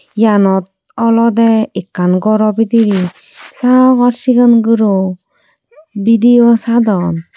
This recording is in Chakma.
iyanot olode ekkan goro bidire sagor sigon guro video sadon.